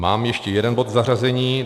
Mám ještě jeden bod k zařazení.